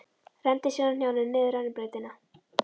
Renndi sér á hnjánum niður rennibrautina.